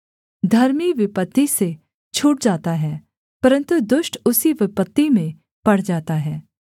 धर्मी विपत्ति से छूट जाता है परन्तु दुष्ट उसी विपत्ति में पड़ जाता है